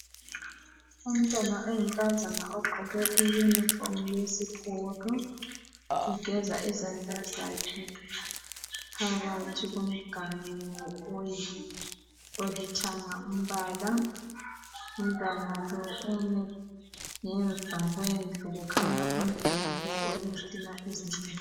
Umntwana oyinkaza ogqoke iyunifomu yesikolo. Ugeza izandla zakhe phakathi komganu olithanga umbala. Umntwana lo ume ngemva kwendlu. Kukhanya umduli olezitina ezincane